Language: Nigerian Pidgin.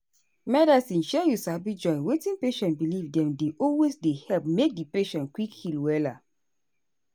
medicine shey you sabi join wetin patient believe dem dey always dey help make di patient quick heal wella.